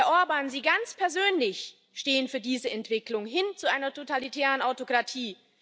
Herr Orbán, Sie ganz persönlich stehen für diese Entwicklung hin zu einer totalitären Autokratie.